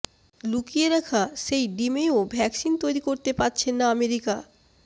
লুকিয়ে রাখা সেই ডিমেও ভ্যাকসিন তৈরি করতে পারছে না আমেরিকা